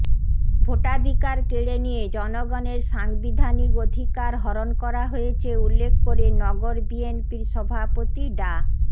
ভোটাধিকার কেড়ে নিয়ে জনগণের সাংবিধানিক অধিকার হরণ করা হয়েছে উল্লেখ করে নগর বিএনপির সভাপতি ডা